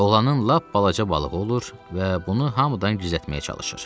Oğlanın lap balaca balığı olur və bunu hamıdan gizlətməyə çalışır.